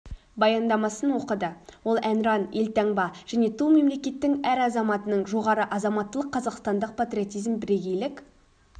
баяндамасын оқыды ол әнұран елтаңба және ту мемлекеттің әр азаматының жоғары азаматтылық қазақстандық патриотизм бірегейлік